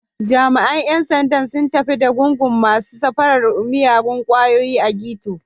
Jami’an ‘yan sandan sun tafi da gungun masu safarar miyagun kwayoyi a Ghetto.